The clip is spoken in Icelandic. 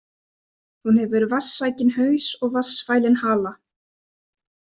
Hún hefur vatnssækinn haus og vatnsfælinn hala.